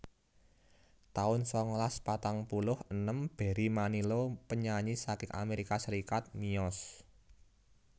taun sangalas patang puluh enem Barry Manilow penyanyi saking Amerika Serikat miyos